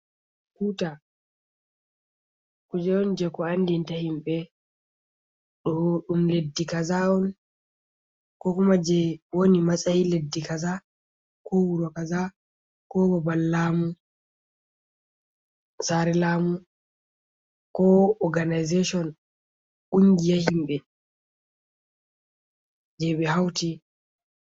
Tuta, kuje'on je ko andinta yimɓe ɗo ɗum leddi kaza'on ko kuma je woni ma sayi leddi kaza, ko wuro kaza ko babal lamu , saare lamu ko organaization kungiya yimɓe, jeɓe hawti.